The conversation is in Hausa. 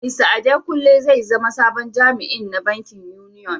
Mista Adekunle zai zama sabon jami'in na bankin Union.